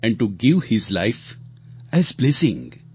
and to give his life as blessing